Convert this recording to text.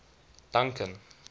duncan